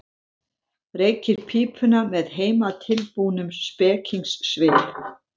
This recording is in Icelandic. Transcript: Reykir pípuna með heimatilbúnum spekingssvip.